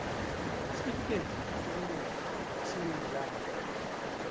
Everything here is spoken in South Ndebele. isitifikedi sobulunga esinelanga